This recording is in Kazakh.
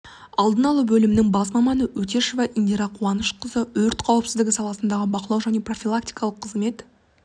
алдын алу бөлімінің бас маманы өтешева индира қуанышқызы өрт қауіпсіздігі саласындағы бақылау және профилактикалық қызмет